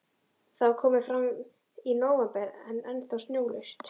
Það var komið fram í nóvember en ennþá snjólaust.